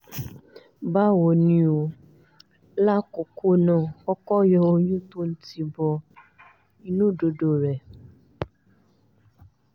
báwo ni o lákọ̀ọ́kọ́ ná kọ́kọ́ yọ ohun tó o tì bọ inú ìdodo rẹ